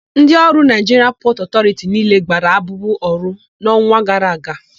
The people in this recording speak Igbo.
Ndị ọrụ Naịjiria Pọtụ Ọtọriti niile gbara abụbụ ọrụ n'ọnwa gara aga.